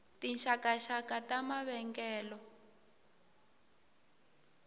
tinxakanxaka ta mavengele